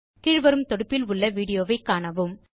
கீழ் வரும் தொடுப்பில் உள்ள விடியோவை காணவும்